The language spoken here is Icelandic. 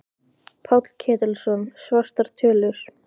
Páll Ketilsson: Svartar tölur?